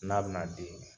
N'a bɛna di